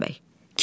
Rüstəm bəy.